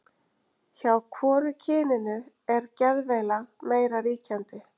hjá hvoru kyninu er geðveila meira ríkjandi